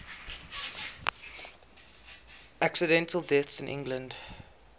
accidental deaths in england